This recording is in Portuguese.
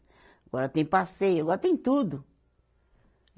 Agora tem passeio, agora tem tudo.